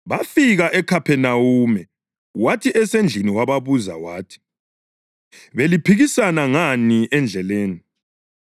Bafika eKhaphenawume. Wathi esendlini wababuza wathi, “Beliphikisana ngani endleleni?”